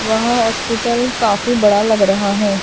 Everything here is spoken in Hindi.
वहां हॉस्पिटल काफी बड़ा लग रहा है।